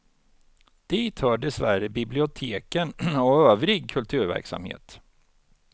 Dit hör dessvärre biblioteken och övrig kulturverksamhet.